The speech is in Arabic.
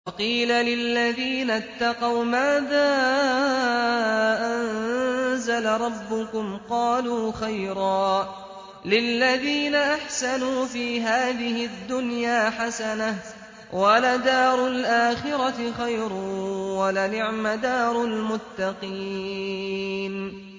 ۞ وَقِيلَ لِلَّذِينَ اتَّقَوْا مَاذَا أَنزَلَ رَبُّكُمْ ۚ قَالُوا خَيْرًا ۗ لِّلَّذِينَ أَحْسَنُوا فِي هَٰذِهِ الدُّنْيَا حَسَنَةٌ ۚ وَلَدَارُ الْآخِرَةِ خَيْرٌ ۚ وَلَنِعْمَ دَارُ الْمُتَّقِينَ